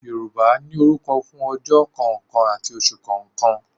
Yorùbá ní orúkọ fún ojọ́ kọ̀ọ̀kan àti oṣù kọ̀ọ̀kan